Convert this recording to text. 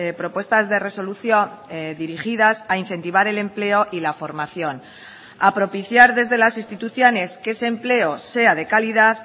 propuestas de resolución dirigidas a incentivar el empleo y la formación a propiciar desde las instituciones que ese empleo sea de calidad